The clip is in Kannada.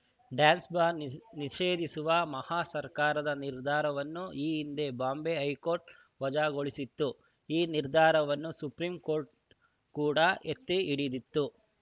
ಡ್ಯಾನ್ಸ್‌ ಬಾರ್‌ ನಿ ನಿಷೇಧಿಸುವ ಮಹಾ ಸರ್ಕಾರದ ನಿರ್ಧಾರವನ್ನು ಈ ಹಿಂದೆ ಬಾಂಬೆ ಹೈಕೋರ್ಟ್‌ ವಜಾಗೊಳಿಸಿತ್ತು ಈ ನಿರ್ಧಾರವನ್ನು ಸುಪ್ರೀಂಕೋರ್ಟ್‌ ಕೂಡಾ ಎತ್ತಿಹಿಡಿದಿತ್ತು